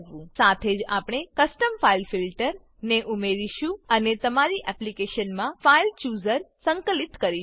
સાથે જ આપણે custom file filter custom file filter ને ઉમેરીશું અને તમારી એપ્લીકેશનમાં ફાઇલ ચૂઝર ફાઈલ ચુઝર સંકલિત કરીશું